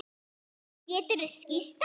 Geturðu skýrt það?